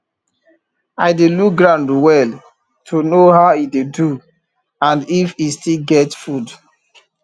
i dey look ground well to know how e dey do and if e still get food